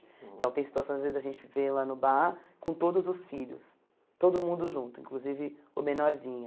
Então, tem situações, às vezes, da gente ver ela no bar com todos os filhos, todo mundo junto, inclusive o menorzinho.